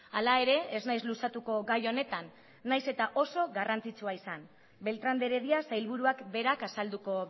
hala ere ez naiz luzatuko gai honetan nahiz eta oso garrantzitsua izan beltrán de heredia sailburuak berak azalduko